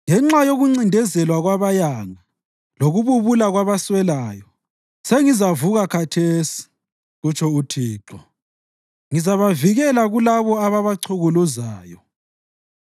“Ngenxa yokuncindezelwa kwabayanga lokububula kwabaswelayo, sengizavuka khathesi,” kutsho uThixo. “Ngizabavikela kulabo ababachukuluzayo.”